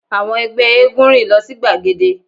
Àwọn ẹgbẹ́ éégún rìn lọ sí gbagede